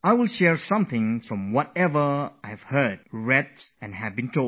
I will share some of the things that I have heard, what I have read, and what I have been told